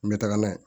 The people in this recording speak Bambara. N bɛ taga n'a ye